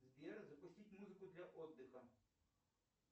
сбер запустить музыку для отдыха